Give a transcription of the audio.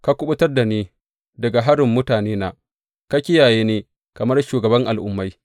Ka kuɓutar da ni daga harin mutanena; ka kiyaye ni kamar shugaban al’ummai.